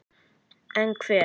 En hvar?